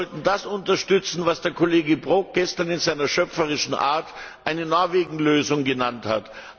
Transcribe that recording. Wir sollten das unterstützen, was der Kollege Brok gestern in seiner schöpferischen Art eine Norwegen Lösung genannt hat.